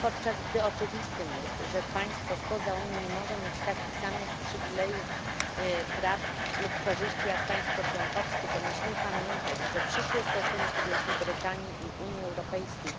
Podczas gdy oczywistym jest, że państwo spoza Unii nie może mieć takich samych przywilejów, praw lub korzyści jak państwo członkowskie, to musimy pamiętać, że przyszłe stosunki Wielkiej Brytanii i Unii Europejskiej